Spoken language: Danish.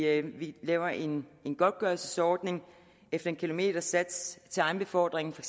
at vi laver en godtgørelsesordning efter en kilometersats til egen befordring for